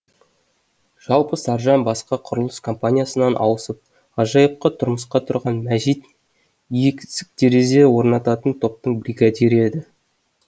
жалпы саржан басқа құрылыс компаниясынан ауысып ғажайыпқа тұрғанда мәжит терезе орнататын топтың бригадирі еді